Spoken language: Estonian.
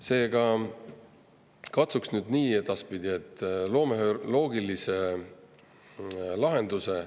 Seega, katsuks nüüd edaspidi nii, et loome ühe loogilise lahenduse.